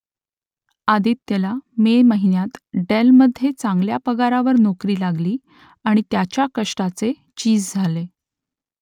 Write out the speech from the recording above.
आदित्यला May महिन्यात डेलमध्ये चांगल्या पगारावर नोकरी लागली आणि त्याच्या कष्टाचे चीज झाले